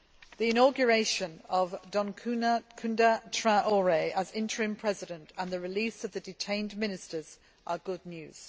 The inauguration of Dioncounda Traoré as interim President and the release of the detained ministers come as good news.